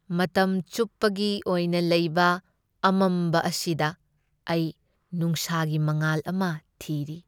ꯃꯇꯝ ꯆꯨꯞꯄꯒꯤ ꯑꯣꯏꯅ ꯂꯩꯕ ꯑꯃꯝꯕ ꯑꯁꯤꯗ ꯑꯩ ꯅꯨꯡꯁꯥꯒꯤ ꯃꯉꯥꯜ ꯑꯃ ꯊꯤꯔꯤ꯫